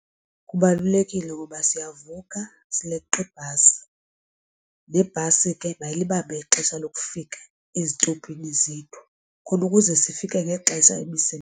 Kubalulekile kuba siyavuka sileqa ibhasi nebhasi ke bayilibambe ixesha lokufika ezitopini zethu khona ukuze sifike ngexesha emisebenzini.